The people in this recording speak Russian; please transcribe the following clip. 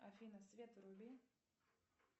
афина свет вруби